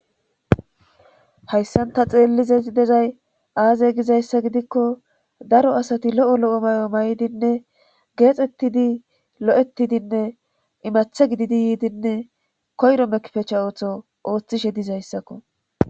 hayssanta xeellizei dezay aaze gizayssa gidikko daro asati lo7o lo7o may7o may7dinne geexettidi lo7ettidinne imathe gididi yiidinne koyro mekpecha ooththo ooththishe dizayssakko